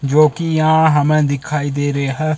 जोकि यहां हमें दिखाई दे रे ह--